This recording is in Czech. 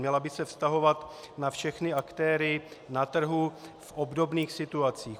Měla by se vztahovat na všechny aktéry na trhu v obdobných situacích.